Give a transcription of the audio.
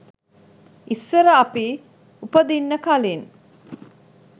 ඉස්සර අපි උපදින්න කලින්